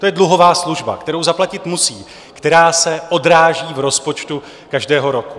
To je dluhová služba, kterou zaplatit musí, která se odráží v rozpočtu každého roku.